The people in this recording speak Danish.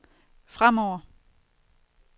fremover